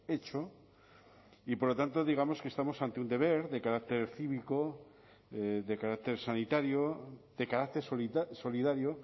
hecho y por lo tanto digamos que estamos ante un deber de carácter cívico de carácter sanitario de carácter solidario